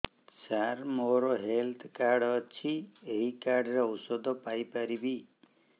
ସାର ମୋର health card ଅଛି ଏହି କାର୍ଡ ରେ ଔଷଧ ପାଇପାରିବି